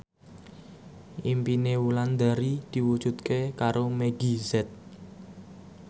impine Wulandari diwujudke karo Meggie Z